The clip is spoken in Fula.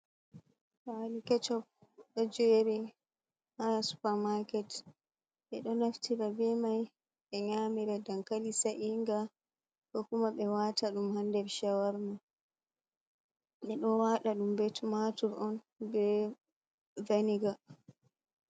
Alu kechob d'o jyeri ha supa maaket. 'Be d'o naftira be mai 'be nyamira dankali sa’iiga ko kuma 'be waata d'um ha shawarma; 'be d'o wada d'um be tumaatur on be veniga.